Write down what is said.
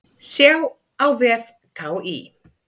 Sjá á vef KÍ.